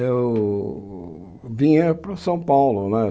Eu vinha para São Paulo, né?